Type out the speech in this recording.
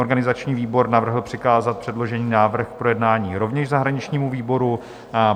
Organizační výbor navrhl přikázat předložený návrh k projednání rovněž zahraničnímu výboru.